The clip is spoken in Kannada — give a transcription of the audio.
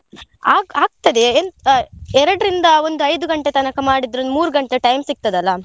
ಆಗ್~ ಆಗ್ತದೆ ಎಂತ್ ಆ ಎರಡ್ರಿಂದ ಒಂದು ಐದು ಗಂಟೆ ತನಕ ಮಾಡಿದ್ರೆ ಒಂದು ಮೂರ್ ಗಂಟೆ time ಸಿಗ್ತದಲ್ಲಾ.